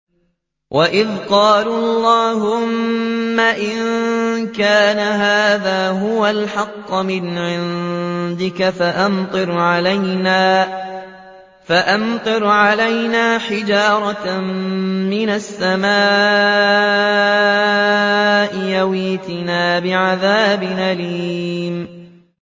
وَإِذْ قَالُوا اللَّهُمَّ إِن كَانَ هَٰذَا هُوَ الْحَقَّ مِنْ عِندِكَ فَأَمْطِرْ عَلَيْنَا حِجَارَةً مِّنَ السَّمَاءِ أَوِ ائْتِنَا بِعَذَابٍ أَلِيمٍ